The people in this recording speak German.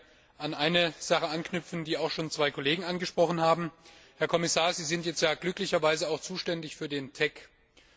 Ich würde gerne an eine Sache anknüpfen, die auch schon zwei Kollegen angesprochen haben. Herr Kommissar, Sie sind jetzt ja glücklicherweise auch für den TEC zuständig.